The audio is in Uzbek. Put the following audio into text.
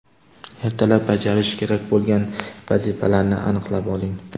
Ertalab bajarish kerak bo‘lgan vazifalarni aniqlab oling.